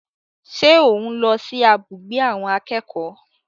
Ṣé ò ń lọ sí abùgbé àwọn akẹ́kọ̀ọ́?